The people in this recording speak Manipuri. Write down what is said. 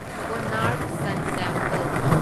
Konark sun temple